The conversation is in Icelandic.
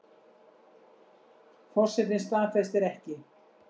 Forsetinn staðfestir ekki